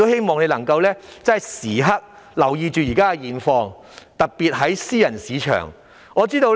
我亦希望政府時刻留意現況，特別是私人市場的情況。